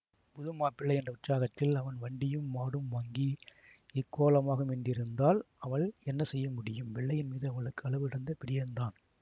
புது மாப்பிள்ளை என்ற உற்சாகத்தில் அவன் வண்டியும் மாடும் வாங்கி இக்கோலமாகும் என்றிருந்தால் அவள் என்ன செய்ய முடியும் வெள்ளையன் மீது அவளுக்கு அளவுகடந்த பிரியந்தான்